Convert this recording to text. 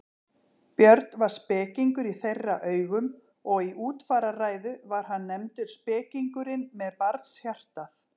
Björn var spekingur í þeirra augum og í útfararræðu var hann nefndur spekingurinn með barnshjartað.